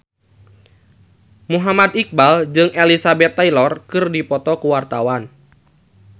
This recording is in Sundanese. Muhammad Iqbal jeung Elizabeth Taylor keur dipoto ku wartawan